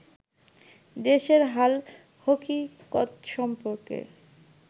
দেশের হালহকিকত সম্পর্কে